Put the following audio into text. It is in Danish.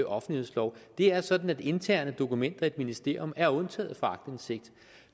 offentlighedslov det er sådan at interne dokumenter i et ministerium er undtaget fra aktindsigt